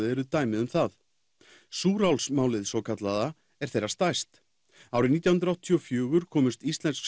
eru dæmi um það svokallaða er þeirra stærst árið nítján hundruð áttatíu og fjögur komust íslensk